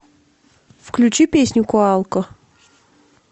включи песню коалко